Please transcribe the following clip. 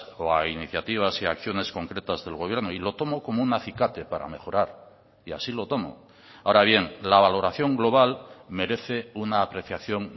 o a iniciativas y acciones concretas del gobierno y lo tomo como un acicate para mejorar y así lo tomo ahora bien la valoración global merece una apreciación